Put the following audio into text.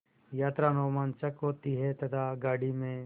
यात्रा रोमांचक होती है तथा गाड़ी में